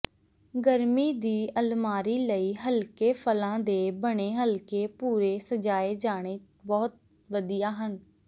ਗਰਮੀ ਦੀ ਅਲਮਾਰੀ ਲਈ ਹਲਕੇ ਫਲਾਂ ਦੇ ਬਣੇ ਹਲਕੇ ਭੂਰੇ ਸਜਾਏ ਜਾਣੇ ਬਹੁਤ ਵਧੀਆ ਹਨ